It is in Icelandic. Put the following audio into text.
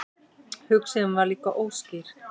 Hugsunin var líka óskýr.